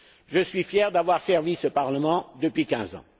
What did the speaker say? Je suis fier d'avoir servi ce parlement depuis quinze ans.